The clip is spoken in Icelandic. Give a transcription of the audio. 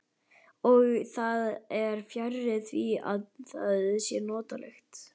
Og það er fjarri því að það sé notalegt.